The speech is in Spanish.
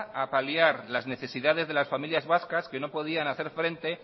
a paliar las necesidades de las familias vascas que no podían hacer frente